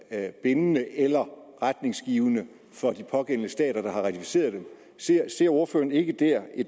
er bindende eller retningsgivende for de pågældende stater der har ratificeret det ser ser ordføreren ikke